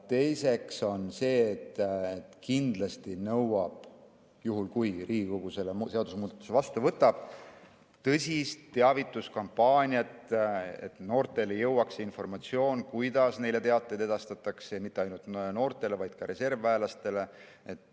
Teiseks, kindlasti see nõuab, juhul kui Riigikogu selle seadusemuudatuse vastu võtab, tõsist teavituskampaaniat, et noorteni jõuaks see informatsioon, kuidas neile teateid edastatakse, ja mitte ainult noorteni, vaid ka reservväelasteni.